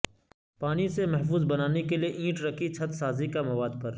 پانی سے محفوظ بنانے کے لئے اینٹ رکھی چھت سازی کا مواد پر